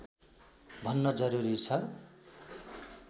भन्न जरुरी छ